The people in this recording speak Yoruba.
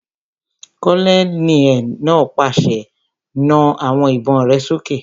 Kólóníẹ̀ náà pàṣẹ, "Na àwọn ìbọn rẹ sókè!"